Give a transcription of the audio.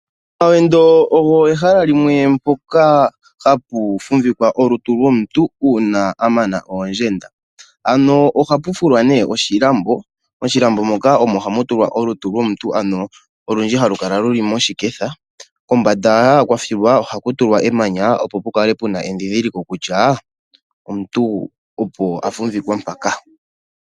Omawendo ogo ehala limwe mpoka hapu fumbikwa olutu lwomuntu uuna a mana oondjenda. Ohapu fulwa nee oshilambo, moshilambo muka omo hamu tulwa olutu lwomuntu olundji halu kala moshiketha. Kombanda kwa filwa ohaku tulwa emanya opo pu kale pena edhidhiliko kutya omuntu opo a fumbikwa mpaka.